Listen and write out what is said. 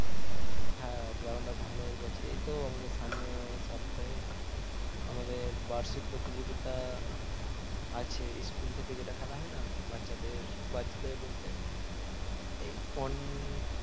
হ্যাঁ ground টা ভালো হয়ে গেছে এইতো আমাদের সামনে সপ্তাহে আমাদের বার্ষিক প্রতিযোগিতা আছে school থেকে যেটা খেলা হয় না বাচ্চাদের বাচ্চাদের বলতে এই